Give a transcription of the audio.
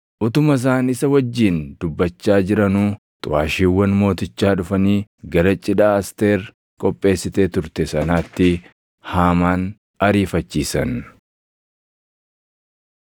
Utuma isaan isa wajjin dubbachaa jiranuu xuʼaashiiwwan mootichaa dhufanii gara cidha Asteer qopheessitee turte sanaatti Haamaan ariifachiisan.